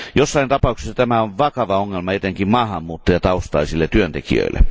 Joissain tapauksissa tämä on vakava ongelma etenkin maahanmuuttajataustaisille työntekijöille.